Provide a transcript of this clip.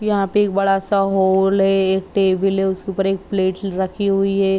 यहाँ पे एक बड़ा सा हॉल है टेबल है। उसके ऊपर एक प्लेट रखी हुई है।